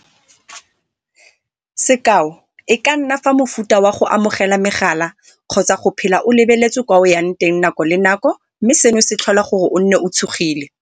Sekao, e ka nna ka mofuta wa go amogela megala kgotsa go phela o lebeletswe kwa o ya teng nako le nako mme seno se tlhola gore o nne o tshogile.